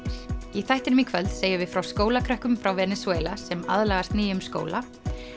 í þættinum í kvöld segjum við frá skólakrökkum frá Venesúela sem aðlagast nýjum skóla